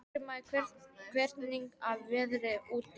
Grímey, hvernig er veðrið úti?